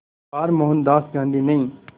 बार मोहनदास गांधी ने